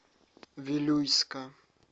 вилюйска